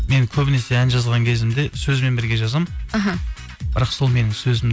мен көбінесе ән жазған кезімде сөзбен бірге жазамын іхі бірақ сол менің